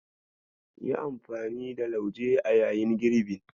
Yi amfani da lauje a yayin girbin.